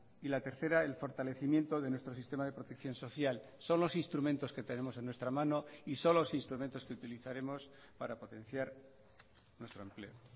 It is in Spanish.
y la tercera el fortalecimiento de nuestro sistema de protección social son los instrumentos que tenemos en nuestra mano y son los instrumentos que utilizaremos para potenciar nuestro empleo